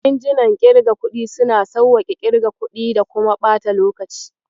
Injinan ƙirga kuɗi suna sawwaƙe ƙirga kuɗi da kuma ɓata lokaci.